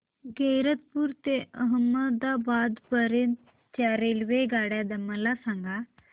गैरतपुर ते अहमदाबाद पर्यंत च्या रेल्वेगाड्या मला सांगा